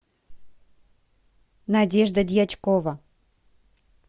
надежда дьячкова